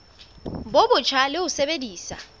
bo botjha le ho sebedisa